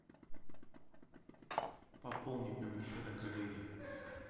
пополнить номер счета коллеги